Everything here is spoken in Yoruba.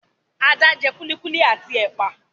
Adé jẹ kulikuli at ẹ̀pà lànà